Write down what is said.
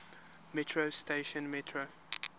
metro station metro